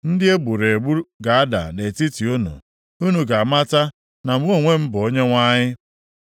Ndị e gburu egbu ga-ada nʼetiti unu, unu ga-amata na mụ onwe m bụ Onyenwe anyị.